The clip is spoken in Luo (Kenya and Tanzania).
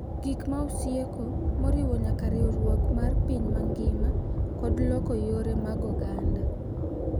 Gik ma osieko, moriwo nyaka riwruok mar piny mangima kod loko yore mag oganda,